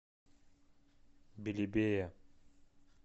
белебея